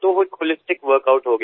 तो वो एक होलिस्टिक वर्क आउट हो गया